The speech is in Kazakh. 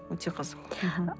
өте қызық аха